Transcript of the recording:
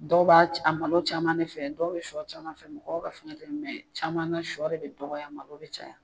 Dɔw ba a malo caman ne fɛ dɔw bɛ shɔ caman fɛ mɔgɔw ka fɛnkɛ tɛ caman na shɔ de bɛ dɔgɔya malo bɛ caya.